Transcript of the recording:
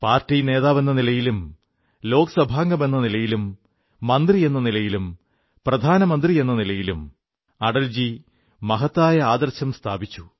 party നേതാവെന്ന നിലയിലും ലോക്സഭാംഗമെന്ന നിലയിലും മന്ത്രിയെന്ന നിലയിലും പ്രധാനമന്ത്രിയെന്ന നിലയിലും അടൽജി മഹത്തായ ആദർശം സ്ഥാപിച്ചു